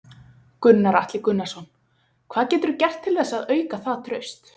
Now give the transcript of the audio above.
Gunnar Atli Gunnarsson: Hvað geturðu gert til þess að auka það traust?